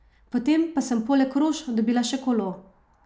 Potem pa sem poleg rož dobila še kolo!